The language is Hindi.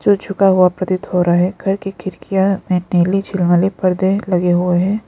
जो झुका हुआ प्रतीत हो रहा है घर की खिड़कियां में नीली छीलमनी पर्दे लगे हुए हैं।